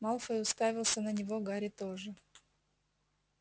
малфой уставился на него гарри тоже